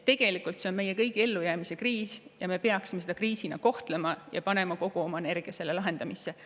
Tegelikult on see meie kõigi ellujäämise kriis ja me peaksime seda ka kriisina kohtlema ning panema kogu oma energia selle lahendamisse.